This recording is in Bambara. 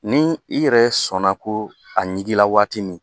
Ni i yɛrɛ sɔnna ko a ɲiginla waati min